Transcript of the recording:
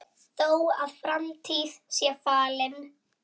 Þó að framtíð sé falin